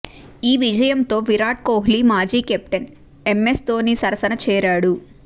ఈ విజయంతో విరాట్ కోహ్లి మాజీ కెప్టెన్ ఎంస్ ధోని సరసన చేరాడు